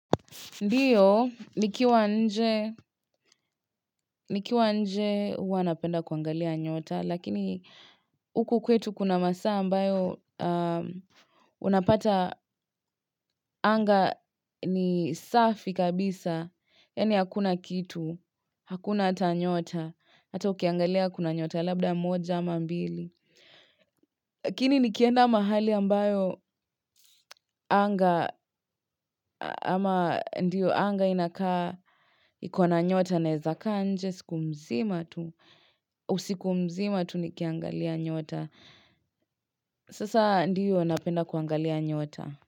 Ndio, nikiwa nje huwa napenda kuangalia nyota, lakini huku kwetu kuna masaa ambayo unapata anga ni safi kabisa. Yaani hakuna kitu, hakuna hata nyota, hata ukiangalia kuna nyota, labda moja ama mbili. Lakini nikienda mahali ambayo anga ama ndio anga inakaa iko na nyota naeza kaa nje siku mzima tu. Usiku mzima tu nikiangalia nyota. Sasa ndio, napenda kuangalia nyota.